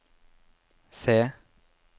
C